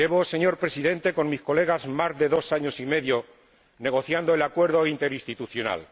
Señor Presidente, llevo, con mis colegas, más de dos años y medio negociando un acuerdo interinstitucional.